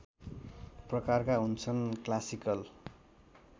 प्रकारका हुन्छन् क्लासिकल